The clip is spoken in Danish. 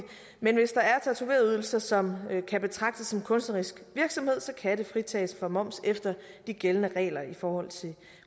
men hvis der er tatovørydelser som kan betragtes som kunstnerisk virksomhed kan det fritages for moms efter de gældende regler i forhold til